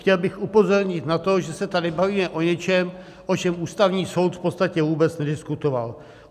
Chtěl bych upozornit na to, že se tady bavíme o něčem, o čem Ústavní soud v podstatě vůbec nediskutoval.